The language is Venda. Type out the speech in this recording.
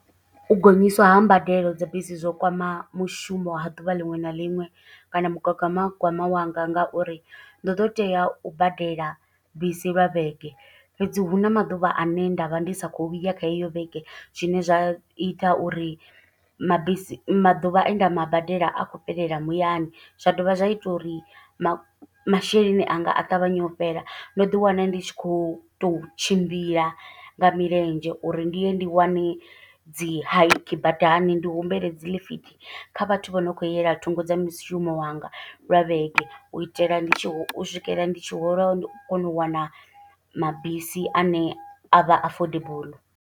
U gonyiswa ha mbadelo dza bisi zwo kwama mushumo ha ḓuvha liṅwe na liṅwe, kana mugagamagwama wanga nga uri ndo ḓo tea u badela bisi lwa vhege. Fhedzi hu na maḓuvha ane nda vha ndi sa khou ya kha heyo vhege, zwine zwa ita uri mabisi maḓuvha e nda ma badela a khou fhelela muyani. Zwa dovha zwa ita uri masheleni anga, a ṱavhanye u fhela. Ndo ḓi wana ndi tshi khou tou tshimbila nga milenzhe uri ndi ye ndi wane dzi hike badani. Ndi humbele dzi ḽifithi kha vhathu vho no khou yela thungo dza mushumo wanga lwa vhege. U itela u swikela ndi tshi hola, ndi kono u wana mabisi ane a vha affordable.